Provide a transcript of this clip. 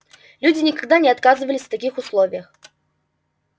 люди никогда не оказывались в таких условиях